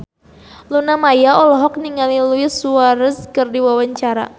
Luna Maya olohok ningali Luis Suarez keur diwawancara